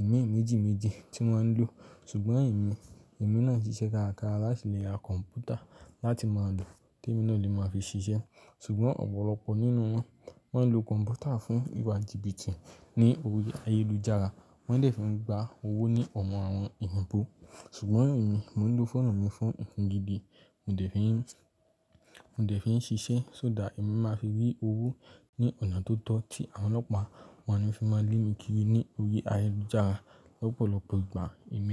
ìmíì méjì méjì tí wọ́n ń lò. Ṣùgbọ́n emi, emi náà ṣiṣẹ́ káraká láti lè ra kọ̀m̀pútà láti máa lò te mii náà lè máa fi ṣiṣẹ́. Ṣùgbọ́n ọ̀pọ̀lọpọ̀ nínú wọn, wọ́n ń lo kọ̀m̀pútà fún ìwà jìbìtì ní orí ayélujára, wọ́n dẹ̀ fi ń gba owó ní ọ̀mọ̀ àwọn oyinbò. Ṣùgbọ́n emí, mò ń lo fóònù mi fún nǹkan gidi, mò dẹ̀ fi ń, mò dẹ̀ fi ń ṣiṣẹ́ só dàá, èmi máa fi rí owó ní ọ̀nà tó tọ́ tí àwọn ọlọ́pàá wọ́n níí fi máa ń le mí kiri ní orí ayélujára lọ́pọ̀lọpọ̀ ìgbà. Emi.